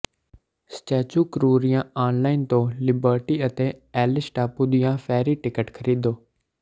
statue ਕਰੂਰੀਆਂ online ਤੋਂ liberty ਅਤੇ ਐਲੀਸ ਟਾਪੂ ਦੀਆਂ ਫੈਰੀ ਟਿਕਟ ਖਰੀਦੋ